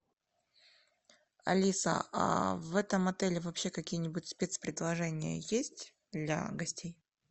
алиса а в этом отеле вообще какие нибудь спецпредложения есть для гостей